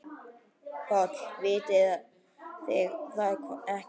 PÁLL: Vitið þið það ekki?